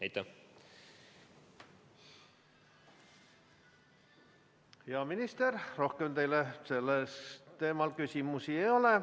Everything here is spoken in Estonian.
Hea minister, rohkem teile sellel teemal küsimusi ei ole.